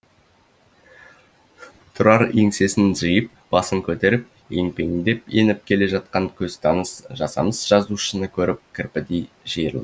тұрар еңсесін жиып басын көтеріп емпеңдеп еніп келе жатқан көзтаныс жасамыс жазушыны көріп кірпідей